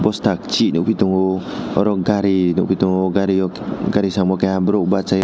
gari repairing khainai masa unka malik tai masa unka bo bw malik nw unka na ka tai o belein--